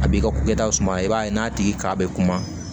A b'i ka ko kɛtaw suma i b'a ye n'a tigi ka bɛ kuma